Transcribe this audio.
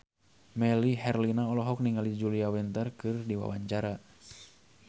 Melly Herlina olohok ningali Julia Winter keur diwawancara